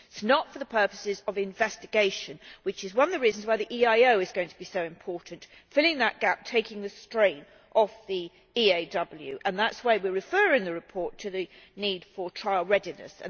It is not for the purposes of investigation, which is one of the reasons why the EIO is going to be so important filling that gap, taking the strain off the EAW and that is why we refer in the report to the need for trial readiness.